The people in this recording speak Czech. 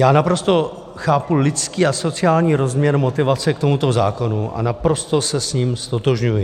Já naprosto chápu lidský a sociální rozměr motivace k tomuto zákonu a naprosto se s ním ztotožňuji.